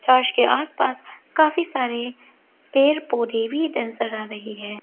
Church के आसपास काफी सारे पेड़ पौधे भी नजर आ रही है।